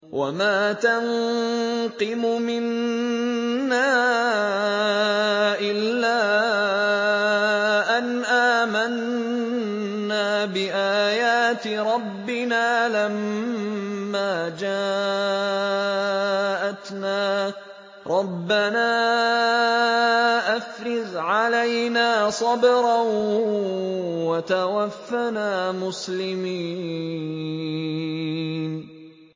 وَمَا تَنقِمُ مِنَّا إِلَّا أَنْ آمَنَّا بِآيَاتِ رَبِّنَا لَمَّا جَاءَتْنَا ۚ رَبَّنَا أَفْرِغْ عَلَيْنَا صَبْرًا وَتَوَفَّنَا مُسْلِمِينَ